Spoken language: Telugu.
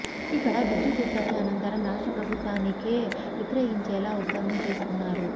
ఇక్కడ విద్యుత్ ఉత్పత్తి అనంతరం రాష్ట్ర ప్రభుత్వానికే విక్రయించేలా ఒప్పందం చేసుకున్నారు